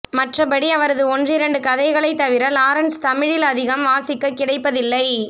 மற்றபடி அவரது ஒன்றிரண்டு கதைகளை தவிர லாரன்ஸ் தமிழில் அதிகம் வாசிக்க கிடைப்பதில்லை